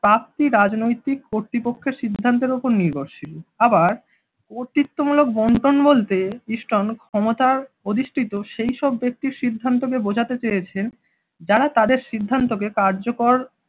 প্রাপ্তি রাজনৈতিক কৰ্তৃপক্ষের সিদ্ধান্তের উপর নির্ভরশীল। আবার কর্তৃত্বমূলক বন্টন বলতে স্টোন ক্ষমতার অধিষ্টিত সেই সব ব্যক্তির সিদ্ধান্তকে বোঝাতে চেয়েছেন যারা তাদের সিদ্ধান্তকে কার্যকর